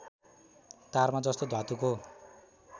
तारमा जस्तो धातुको